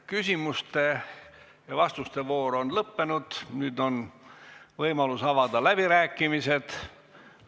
Küsimuste ja vastuste voor on lõppenud, nüüd on võimalus avada läbirääkimised.